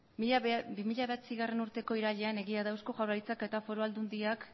bi mila bederatzigarrena urteko irailean egia da eusko jaurlaritzak eta foru aldundiak